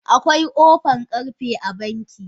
Akwai kofan karfe a banki?